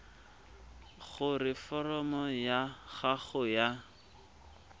gore foromo ya gago ya